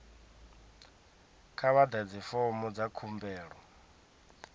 kha vha ḓadze fomo dza khumbelo